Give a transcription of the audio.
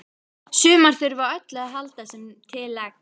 Sumar þurfa á öllu að halda sem til leggst.